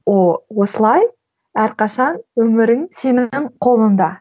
осылай әрқашан өмірің сенің қолыңда